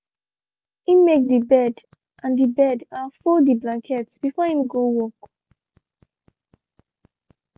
he make de bed and de bed and fold de blanket before him go work.